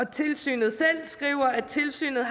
tilsynet selv skriver at tilsynet